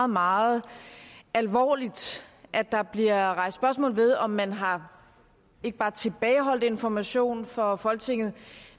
meget alvorligt at der bliver rejst spørgsmål ved om man har ikke bare tilbageholdt information for folketinget